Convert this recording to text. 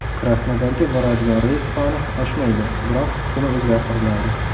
Krasnodarga boradigan reys soni oshmaydi, biroq kuni o‘zgartiriladi.